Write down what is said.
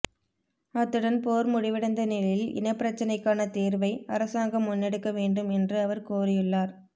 அத்துடன் போர் முடிவடைந்த நிலையில் இனப்பிரச்சினைக்கான தீர்வை அரசாங்கம் முன்னெடுக்கவேண்டும் என்று அவர் கோரியுள்ளார்